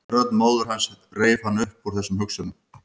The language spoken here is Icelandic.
Rödd móður hans reif hann upp úr þessum hugsunum.